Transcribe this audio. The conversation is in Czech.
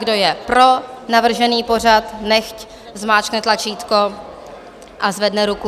Kdo je pro navržený pořad, nechť zmáčkne tlačítko a zvedne ruku.